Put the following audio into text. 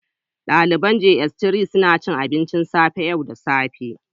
Daliban jss 3 suna cin abinci a cafe yau da safe